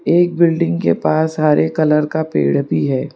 एक बिल्डिंग के पास हरे कलर का पेड़ भी है।